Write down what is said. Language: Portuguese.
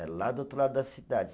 É lá do outro lado da cidade.